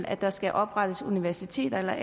at der skal oprettes universiteter